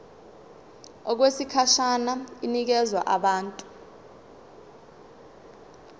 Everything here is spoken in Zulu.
okwesikhashana inikezwa abantu